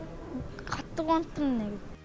қатты қуанып тұрм мен